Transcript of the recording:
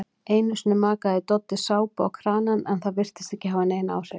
Einusinni makaði Doddi sápu á kranann en það virtist ekki hafa nein áhrif.